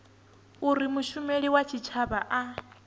uri mushumeli wa tshitshavha a